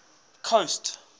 coast